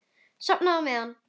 Sofnið á meðan.